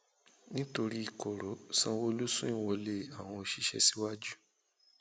nítorí koro sanwóolu sún ìwọlé àwọn òṣìṣẹ síwájú